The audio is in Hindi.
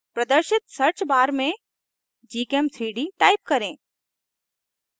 प्रदर्शित search bar में gchem3d type करें